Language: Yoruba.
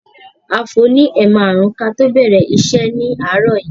A fò ní ẹ̀ márùn-ún kí a tó bẹ̀rẹ̀ iṣẹ́ ni àárọ̀ yìí.